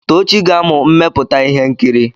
Tochi ga-amụ mmepụta ihe nkiri.